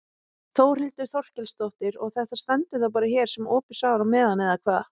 Þórhildur Þorkelsdóttir: Og þetta stendur þá bara hér sem opið sár á meðan eða hvað?